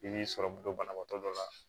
I b'i sɔrɔ don banabaatɔ dɔ la